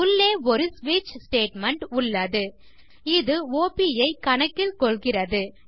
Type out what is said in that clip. உள்ளே ஒரு ஸ்விட்ச் ஸ்டேட்மெண்ட் உள்ளது இது ஆப் ஐ கணக்கில் கொள்கிறது